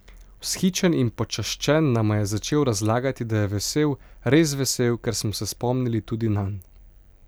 Vzhičen in počaščen nama je začel razlagati, da je vesel, res vesel, ker smo se spomnili tudi nanj.